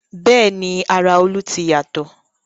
Bẹ́ẹ̀ni ara Olú ti yàtọ̀